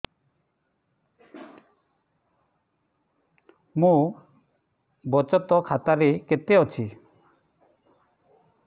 ମୋ ବଚତ ଖାତା ରେ କେତେ ଅଛି